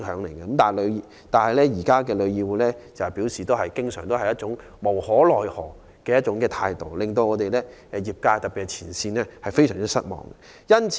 然而，旅議會卻經常擺出一副無可奈何的態度，令業界特別是前線員工非常失望。